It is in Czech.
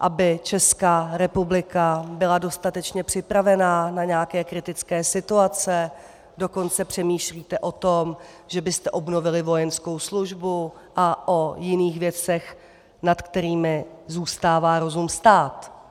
aby Česká republika byla dostatečně připravena na nějaké kritické situace, dokonce přemýšlíte o tom, že byste obnovili vojenskou službu, a o jiných věcech, nad kterými zůstává rozum stát.